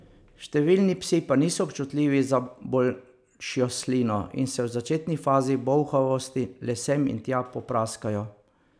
Številni psi pa niso občutljivi za bolšjo slino in se v začetni fazi bolhavosti le sem in tja popraskajo.